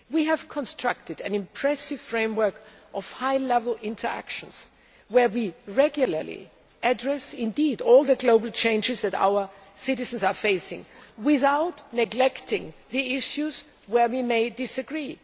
We have constructed an impressive framework of high level interaction where we regularly address all the global changes that our citizens are facing, without neglecting the issues where we may disagree.